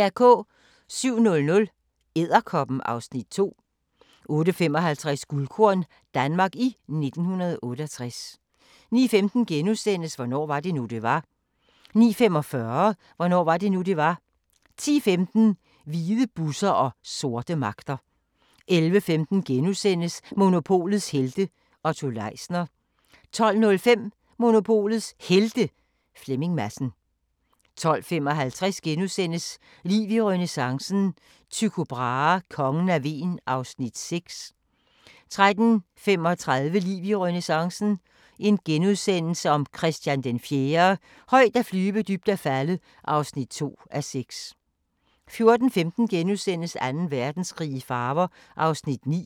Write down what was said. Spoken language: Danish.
07:00: Edderkoppen (Afs. 2) 08:55: Guldkorn – Danmark i 1968 09:15: Hvornår var det nu, det var? * 09:45: Hvornår var det nu, det var? 10:15: Hvide busser og sorte magter 11:15: Monopolets helte - Otto Leisner * 12:05: Monopolets Helte – Flemming Madsen 12:55: Liv i renæssancen – Tycho Brahe: Kongen af Hven (1:6)* 13:35: Liv i renæssancen – Christian IV - højt at flyve, dybt at falde (2:6)* 14:15: Anden Verdenskrig i farver (9:13)*